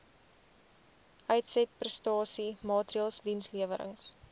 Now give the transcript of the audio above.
uitsetprestasie maatreëls dienslewerings